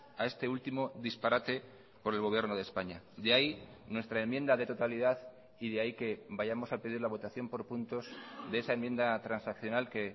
a este último disparate por el gobierno de españa de ahí nuestra enmienda de totalidad y de ahí que vayamos a pedir la votación por puntos de esa enmienda transaccional que